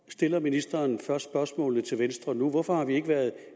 stiller ministeren først spørgsmålet til venstre nu hvorfor har vi ikke været